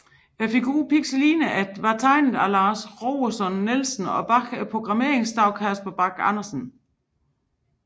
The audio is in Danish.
Figuren Pixeline var tegnet af Lars Roersen Nielsen og bag programmeringen stod Casper Bach Andersen